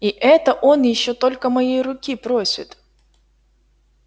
и это он ещё только моей руки просит